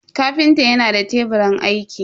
kafinta yana da teburin aiki.